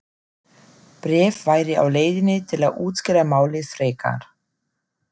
Bréf væri á leiðinni til að útskýra málið frekar.